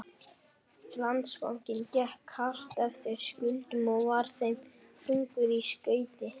Landsbankinn gekk hart eftir skuldum og var þeim þungur í skauti.